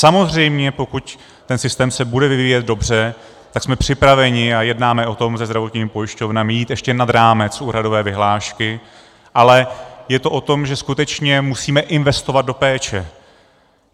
Samozřejmě pokud ten systém se bude vyvíjet dobře, tak jsme připraveni, a jednáme o tom se zdravotními pojišťovnami, jít ještě nad rámec úhradové vyhlášky, ale je to o tom, že skutečně musíme investovat do péče.